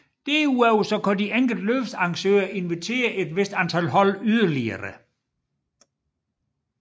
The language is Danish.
Derudover kan de enkelte løbsarrangører inviterer et vist antal hold yderlige